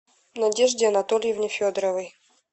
надежде анатольевне федоровой